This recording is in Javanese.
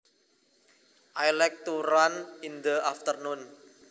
I like to run in the afternoon